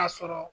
A sɔrɔ